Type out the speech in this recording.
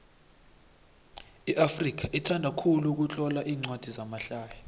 iafrika ithanda khulu ukutlola incwadi zamahlaya